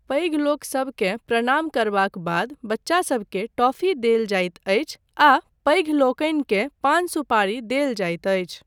पैघलोकसबकेँ प्रणाम करबाक बाद बच्चासबकेँ टॉफ़ी देल जाइत अछि आ पैघ लोकनिकेँ पान सुपारी देल जाइत अछि।